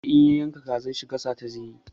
Ya ce in ya yanka kazar shi gasa ta zai yi.